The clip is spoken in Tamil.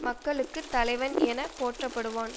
மக்களுக்கு தலைவன் என போற்றப்படுவான்